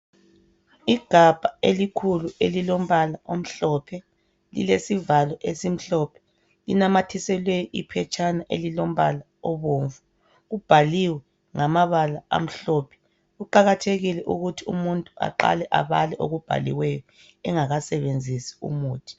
Igabha elikhulu elilompala omhlophe lilesivalo esimhlophe linamathiselwe iphetshana elilompala obomvu kubhaliwe ngamabala amhlophe kuqakathekile ukuthi umuntu aqale abale okubhaliweyo engakasebenzisi umuthi.